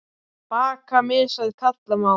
Bakka mishæð kalla má.